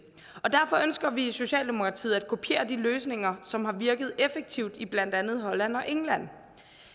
derfor ønsker vi i socialdemokratiet at kopiere de løsninger som har virket effektivt i blandt andet holland og england